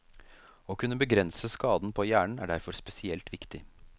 Å kunne begrense skaden på hjernen, er derfor spesielt viktig.